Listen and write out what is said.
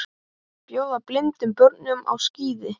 Bjóða blindum börnum á skíði